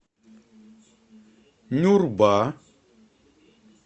нюрба